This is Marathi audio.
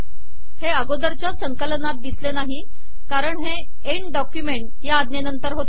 हे अगोदरचया संकलनात िदसले नाही कारण हे एंड डॉकयुमेट या आजेनतर होते